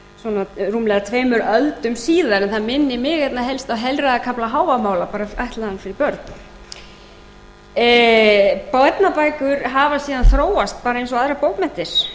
svona tveimur öldum síðar en það minnir mig einna helst á heilræðakafla hávamála bara ætlaðan fyrir börn barnabækur hafa síðan þróast eins og aðrar bókmenntir